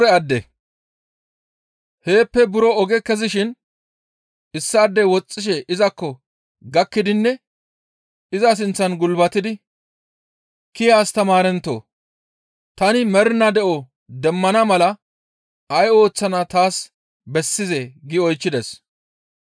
Heeppe buro oge kezishin issaadey woxxishe izakko gakkidinne iza sinththan gulbatidi, «Kiya astamaarentoo! Tani mernaa de7o demmana mala ay ooththana taas bessizee?» gi oychchides.